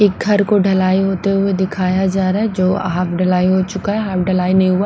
एक घर को ढलाई होते हुए दिखाया जा रहा हैजो हाफ ढलाई हो चुका है हाफ ढलाई नहीं हुआ।